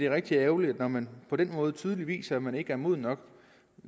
rigtig ærgerligt når man på den måde tydeligt viser at man ikke er moden nok